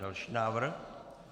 Další návrh.